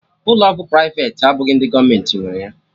Ụlọ ọgwụ privati abụghị ndị gọọmenti nwere ya